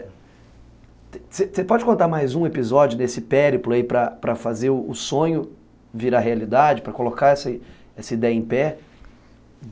Você pode contar mais um episódio desse périplo aí para para fazer o sonho virar realidade, para colocar essa essa ideia em pé?